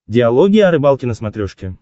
диалоги о рыбалке на смотрешке